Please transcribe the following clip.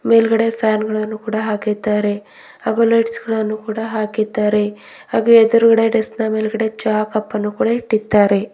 ಮೇಲ್ಗಡೆ ಫ್ಯಾನ್ ಗಳನ್ನು ಕೂಡ ಹಾಕಿದ್ದಾರೆ ಹಾಗೂ ಲೈಟ್ಸ್ ಗಳನ್ನು ಕೂಡ ಹಾಕಿದ್ದಾರೆ ಹಾಗೂ ಎದುರುಗಡೆ ಡೆಸ್ಕ್ ನ ಮೇಲ್ಗಡೆ ಚಾ ಕಪ್ಪನ್ನು ಕೂಡ ಇಟ್ಟಿದ್ದಾರೆ.